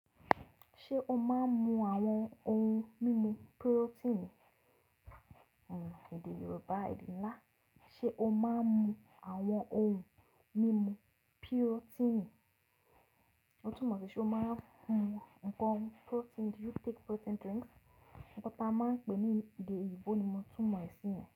Ṣé o máa ń mu àwọn ohun mímu pirotíìnì? Òun èdè Yorùbá, èdè ńlá. Sé o máa ń mu àwọn ohun mímu pirotíìnì? Ó tún mọ̀ pé ṣé o máa ń mu ǹkan pirotíìnì? Nkan ta máa ń pe ní èdè oyinbo ni mo tún mọ̀ sí ì.